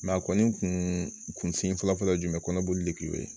a kɔni kun sin fɔlɔ fɔlɔ ye jumɛn ye kɔnɔboli de kun ye